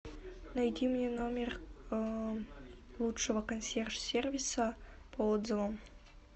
найди мне номер лучшего консьерж сервиса по отзывам